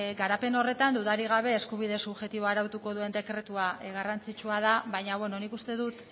garapen horretan dudarik gabe eskubide subjektiboa arautuko duen dekretua garrantzitsua da baina nik uste dut